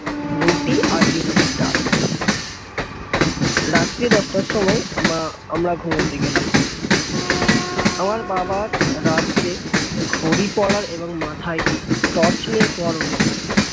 রুটি আর বিউলির ডাল রাত্রি দশটার সময় আমআমরা ঘুমাতে গেলাম আমার বাবার রাত্রে হাতে ঘড়ি পড়ার এবং মাথায় torch নিয়ে সোয়ার অভ্যাস আছে